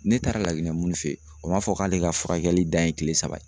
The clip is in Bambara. Ne taara Laginɛ munnu fe yen o m'a fɔ k'ale ka furakɛli dan ye kile saba ye